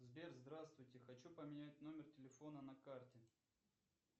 сбер здравствуйте хочу поменять номер телефона на карте